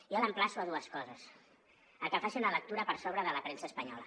jo l’emplaço a dues coses a que faci una lectura per sobre de la premsa espanyola